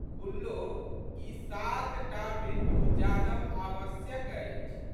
गुल्लो ई सातटा बिंदु जानब आवश्यक अछि।